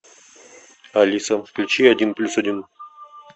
алиса включи один плюс один